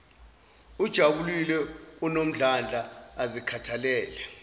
ajabulile anomdlandla azikhathalele